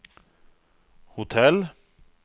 hotell